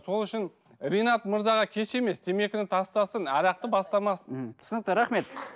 сол үшін ринат мырзаға кеш емес темекіні тастасын арақты бастамасын ммм түсінікті рахмет